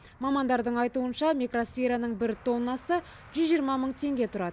мамандардың айтуынша микросфераның бір тоннасы жүз жиырма мың теңге тұрады